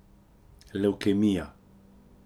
Levkemija.